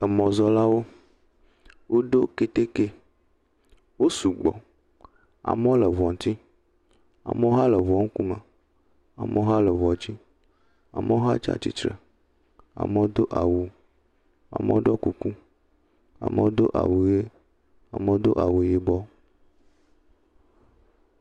Emɔzɔlawo woɖo keteke. Wo sugbɔ. Amewo le ŋua ŋti, amewo hã le ŋua ŋku me. Amewo hã le ŋua dzi, amewo hã tsia tsitre, amewo doa wu, amewo ɖo kuku, amewo do awu ʋie, amewo do awu yibɔ.